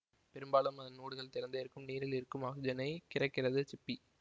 பெரும்பாலும் அதன் ஓடுகள் திறந்தே இருக்கும் நீரில் இருக்கும் ஆக்சிஜனை கிரகிக்கிறது சிப்பி